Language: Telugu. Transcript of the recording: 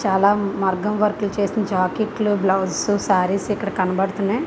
చాలా మగ్గం వర్క్ చేసిన జాకెట్ లు బ్లౌస్ సారీస్ ఇక్కడ అనిపిస్తున్నాయి.